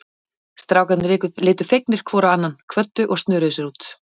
Strákarnir litu fegnir hvor á annan, kvöddu og snöruðu sér út.